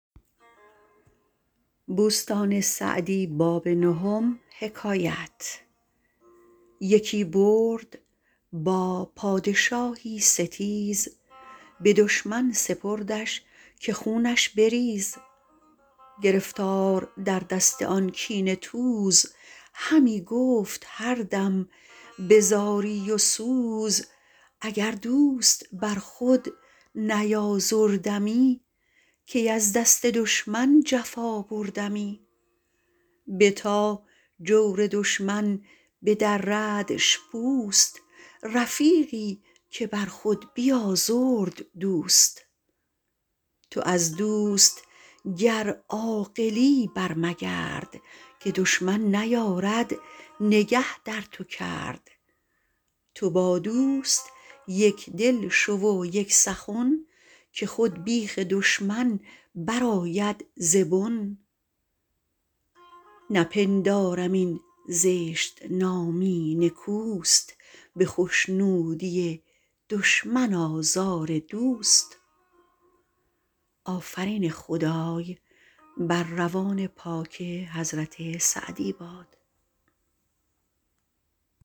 یکی برد با پادشاهی ستیز به دشمن سپردش که خونش بریز گرفتار در دست آن کینه توز همی گفت هر دم به زاری و سوز اگر دوست بر خود نیازردمی کی از دست دشمن جفا بردمی بتا جور دشمن بدردش پوست رفیقی که بر خود بیازرد دوست تو از دوست گر عاقلی بر مگرد که دشمن نیارد نگه در تو کرد تو با دوست یکدل شو و یک سخن که خود بیخ دشمن برآید ز بن نپندارم این زشت نامی نکوست به خشنودی دشمن آزار دوست